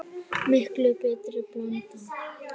Miklu betri blanda?